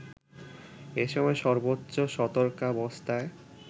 এসময় সর্বোচ্চ সতর্কাবস্থায়